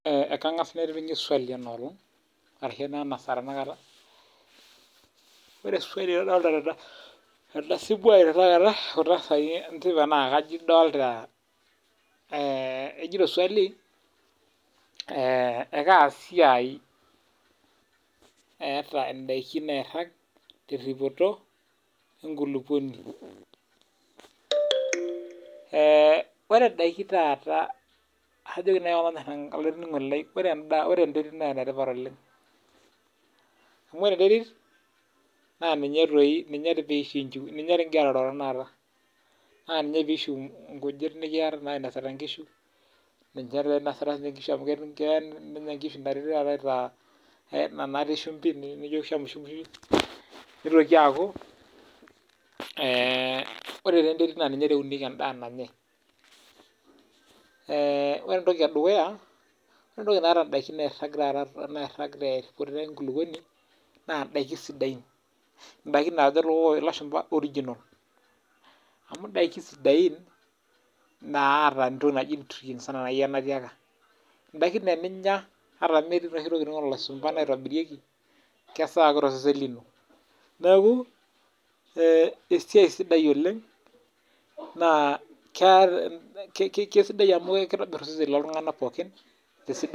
Ore swali nadolita tena simu ai tenakata naa kajo edolita kejoito swali ee Kaa siai etaa ndaaki nairag teripoto enkulupuoni ee ore ndaaki taata kajo taata olainining'oni lai ore ndaa enetipat oleng amu ore enterit naa ninye pee kinju ninye doi kigira aroro tenakata naa ninye pishu nkujit nainosita nkishu ninye doi enosita nkishu amu Keyaa nishamu shimbi nitoki aaku ee ore enterit ninye eunikie endaa nanyai ee ore entoki edukuya oree taata ndaiki nairag tee nkulukuoni naa ndaki sidain ndaki naajo elashumba original amu ndaki sidain naata entoki naaji nutrients enaa naaji ake enaatiaka ndaki naa tenyia ataa metii tokitin olashumba naitobirikie kesawa ake tosesen lino neeku ee siai sidai oleng naa kesidai amu kitobir osesen looltung'a pookin